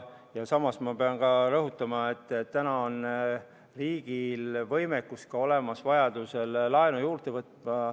Samas pean rõhutama, et riigil on olemas ka võimekus vajaduse korral laenu juurde võtta.